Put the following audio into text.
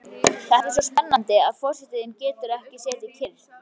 Þetta er svo spennandi að forsetinn getur ekki setið kyrr.